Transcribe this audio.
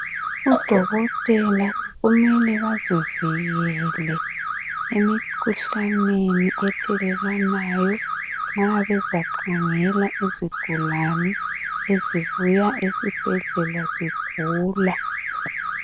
Odokotela kumele bazivikele emikhuhlaneni ethelelwanayo nxabeza khangela izigulane ezibuya ezibhedlela zigula